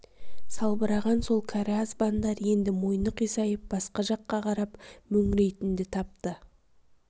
салбыраған сол кәрі азбандар енді мойны қисайып басқа жаққа қарап мөңірейтінді тапты